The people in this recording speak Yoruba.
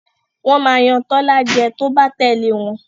wón má Yàn Tola jé tó bá tèlé wón